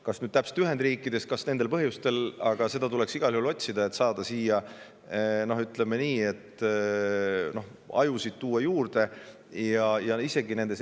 Kas just Ühendriikidest ja kas täpselt nendel põhjustel, aga igal juhul tuleks siia, ütleme, ajusid juurde tuua.